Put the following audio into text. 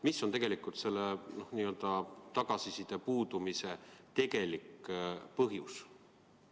Mis on tegelikult selle n-ö tagasiside puudumise tegelik põhjus?